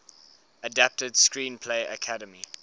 adapted screenplay academy